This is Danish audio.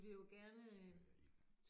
Spyr jeg ild